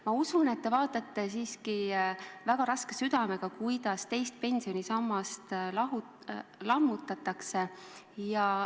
Ma usun, et te vaatate siiski väga raske südamega, kuidas teist pensionisammast lammutatakse.